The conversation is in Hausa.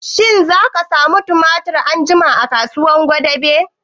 Shin za a samu tumatir anjima a kasuwar gwadabe?